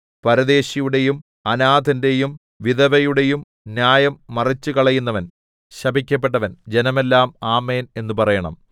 പരദേശിയുടെയും അനാഥന്റെയും വിധവയുടെയും ന്യായം മറിച്ചുകളയുന്നവൻ ശപിക്കപ്പെട്ടവൻ ജനമെല്ലാം ആമേൻ എന്നു പറയണം